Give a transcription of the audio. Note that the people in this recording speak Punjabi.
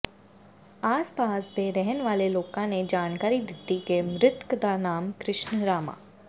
ਆਸ ਪਾਸ ਦੇ ਰਹਿਣ ਵਾਲੇ ਲੋਕਾਂ ਨੇ ਜਾਣਕਾਰੀ ਦਿੱਤੀ ਕਿ ਮ੍ਰਿਤਕ ਦਾ ਨਾਮ ਕ੍ਰਿਸ਼ਨ ਰਾਮਾ